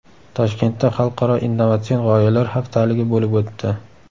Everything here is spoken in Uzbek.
Toshkentda xalqaro innovatsion g‘oyalar haftaligi bo‘lib o‘tdi .